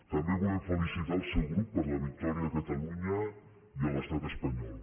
també volem felicitar el seu grup per la victòria a catalunya i a l’estat espanyol